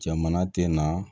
Jamana tɛ na